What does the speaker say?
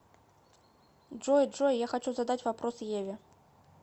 джой джой я хочу задать вопрос еве